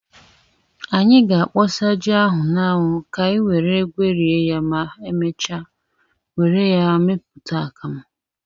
Anyị ga-akpọsa ji ahụ n'anwu ka anyi were gwerie ya ma emechaa were ya meputa akamu.